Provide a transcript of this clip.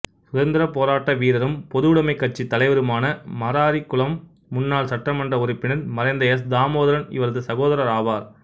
சுதந்திரப் போராட்ட வீரரும் பொதுவுடைமைக் கட்சித் தலைவருமான மராரிகுளம் முன்னாள்சட்டமன்ற உறுப்பினர் மறைந்த எஸ் தாமோதரன் இவரது சகோதரராவார்